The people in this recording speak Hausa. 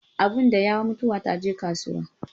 Abin da yawa, mutuwa ta je kasuwa